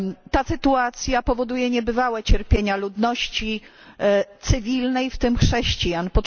Ta sytuacja powoduje niebywałe cierpienia ludności cywilnej, w tym chrześcijan.